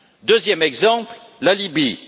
Deuxième exemple, la Libye.